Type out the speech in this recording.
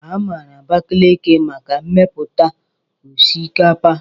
A maara Abakalaki maka mmepụta osikapa.